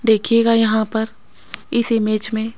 देखिएगा यहां पर इस इमेज में--